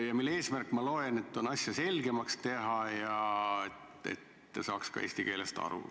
Selle eesmärk, ma loen, on asja selgemaks teha, et saaks ka eesti keelest aru.